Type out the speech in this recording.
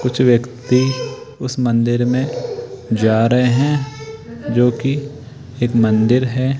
कुछ व्यक्ति उस मंदिर मे जा रहे है जो कि एक मंदिर है।